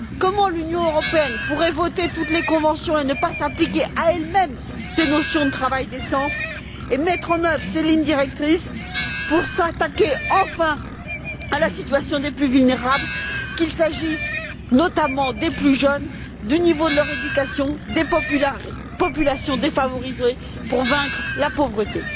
Comment l'Union européenne pourrait elle voter toutes les conventions et ne pas s'appliquer à elle même ces notions de travail décent et mettre en œuvre ces lignes directrices pour s'attaquer enfin à la situation des plus vulnérables, qu'il s'agisse notamment des plus jeunes, du niveau de leur éducation, des populations défavorisées, pour vaincre la pauvreté?